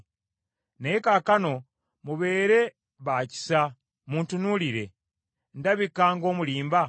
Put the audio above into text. “Naye kaakano mubeere ba kisa muntunuulire. Ndabika ng’omulimba?